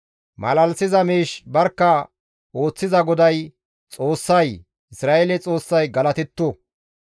Malalisiza miish barkka ooththiza GODAY, Xoossay, Isra7eele Xoossay galatetto.